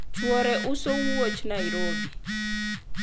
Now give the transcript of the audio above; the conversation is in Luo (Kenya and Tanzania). chuore uso wuoche Nairobi